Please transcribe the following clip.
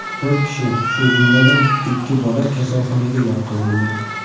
To‘rt kishi, shu jumladan, ikki bola kasalxonaga yotqizildi.